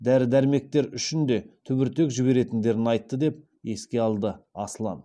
дәрі дәрмектер үшін де түбіртек жіберетіндерін айтты деп еске алады аслан